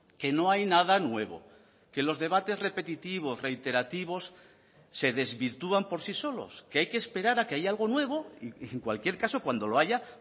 que no hay nada nuevo que los debates repetitivos reiterativos se desvirtúan por sí solos que hay que esperar a que haya algo nuevo y en cualquier caso cuando lo haya